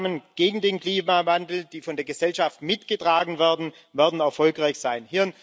Nur Maßnahmen gegen den Klimawandel, die von der Gesellschaft mitgetragen werden, werden erfolgreich sein.